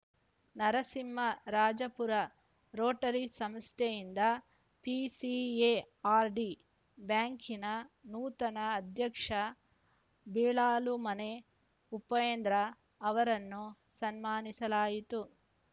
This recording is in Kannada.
ನರಸಿಂಹರಾಜಪುರ ರೋಟರಿ ಸಂಸ್ಥೆಯಿಂದ ಪಿಸಿಎಆರ್‌ಡಿ ಬ್ಯಾಂಕಿನ ನೂತನ ಅಧ್ಯಕ್ಷ ಬಿಳಾಲುಮನೆ ಉಪೇಂದ್ರ ಅವರನ್ನು ಸನ್ಮಾನಿಸಲಾಯಿತು